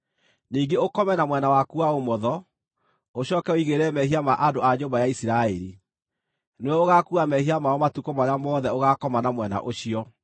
“Ningĩ ũkome na mwena waku wa ũmotho, ũcooke wĩigĩrĩre mehia ma andũ a nyũmba ya Isiraeli. Nĩwe ũgaakuua mehia mao matukũ marĩa mothe ũgaakoma na mwena ũcio.